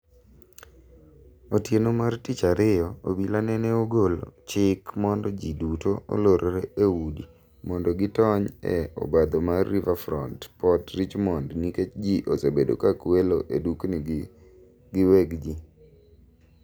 Otieno mar tich ariyo obila nene ogolo chik mondo ji duto olorre eudi mondo gi tony e obadho mar Riverfront Port Richmond nikech ji osebedo ka kwelo e dukni ji giweg gi